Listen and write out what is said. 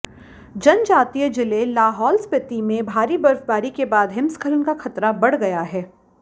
जनजातीय जिले लाहौल स्पिति में भारी बर्फबारी के बाद हिमस्खलन का खतरा बढ़ गया है